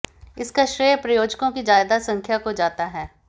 इसका श्रेय प्रायोजकों की ज्यादा संख्या को जाता है